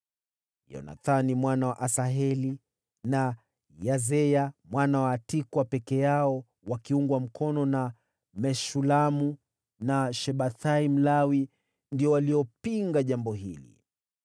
Yonathani mwana wa Asaheli na Yazeya mwana wa Tikwa peke yao, wakiungwa mkono na Meshulamu na Shabethai Mlawi, ndio waliopinga jambo hili.